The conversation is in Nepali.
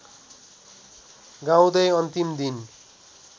गाउँदै अन्तिम दिन